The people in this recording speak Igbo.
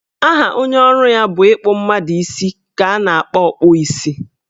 Aha onye ọrụ ya bụ ịkpụ mmadụ isi ka a na-akpọ Ọkpụ isi